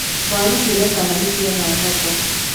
Waru cĩina cama nĩciaga thoko.